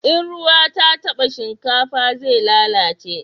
In ruwa ta taba shinkafa zai lalace